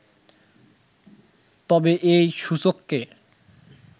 তবে এই সূচককে